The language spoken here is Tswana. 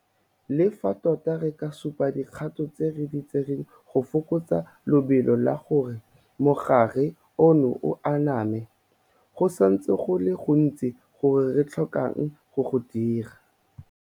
Le fa tota re ka supa dikgato tse re di tsereng go fokotsa lebelo la gore mogare ono o aname, go santse go le go gontsi go re tlhokang go go dira.